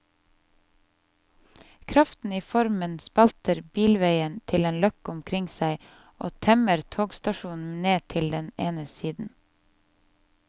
Kraften i formen spalter bilveien til en løkke omkring seg og temmer togstasjonen ned til den ene siden.